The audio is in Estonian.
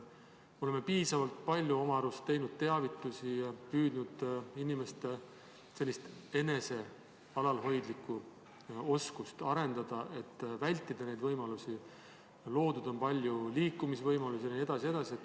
Oleme piisavalt palju oma arust teinud teavitusi ja püüdnud inimeste enesealalhoidlikku oskust arendada, et neid ohte vältida, loodud on palju liikumisvõimalusi jne.